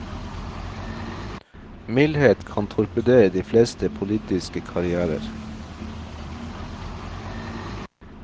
Mildhet kan torpedere de fleste politiske karrièrer.